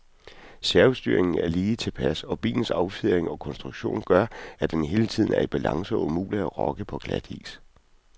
Servostyringen er lige tilpas, og bilens affjedring og konstruktion gør, at den hele tiden er i balance og umulig at lokke på glatis.